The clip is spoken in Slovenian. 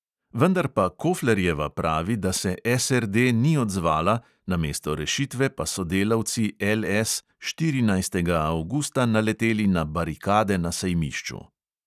Vendar pa koflerjeva pravi, da se SRD ni odzvala, namesto rešitve pa so delavci LS štirinajstega avgusta naleteli na barikade na sejmišču.